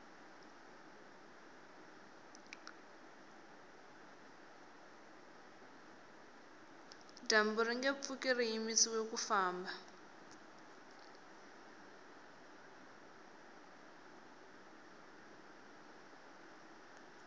dyambu ringe pfuki ri yimisiwe ku famba